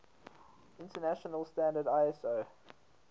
international standard iso